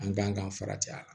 An kan ka farati ya